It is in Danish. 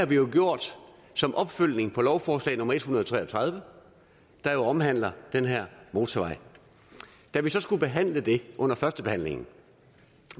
det har vi gjort som opfølgning på lovforslag nummer l en hundrede og tre og tredive der jo omhandler den her motorvej da vi så skulle behandle det under førstebehandlingen